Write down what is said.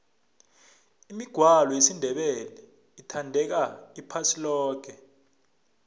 imigwalo yesindebele ithandeka iphasi loke